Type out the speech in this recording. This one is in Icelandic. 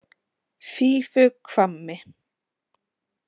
Fífuhvammi